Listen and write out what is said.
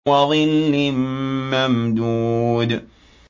وَظِلٍّ مَّمْدُودٍ